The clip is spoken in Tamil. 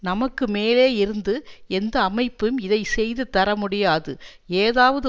நமக்கு மேலேயிருந்து எந்த அமைப்பும் இதை செய்து தரமுடியாது ஏதாவது